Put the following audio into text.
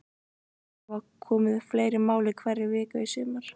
Hafa komið upp fleiri mál í einhverri viku í sumar?